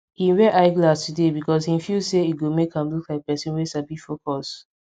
him wear eye glass today because him feel say e go make am look like person wey sabi focus